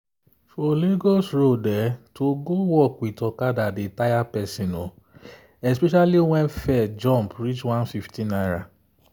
for lagos road to go work with okada dey tire person especially when fare jump reach ₦150.